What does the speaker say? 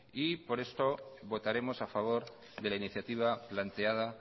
y por eso votaremos a favor de la iniciativa planteada